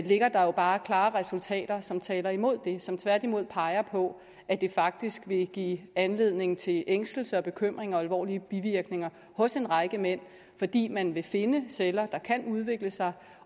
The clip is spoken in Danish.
ligger der jo bare klare resultater som taler imod det og som tværtimod peger på at det faktisk vil give anledning til ængstelse og bekymring og alvorlige bivirkninger hos en række mænd fordi man vil finde celler der kan udvikle sig